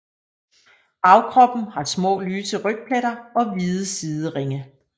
Bagkroppen har små lyse rygpletter og hvide sideringe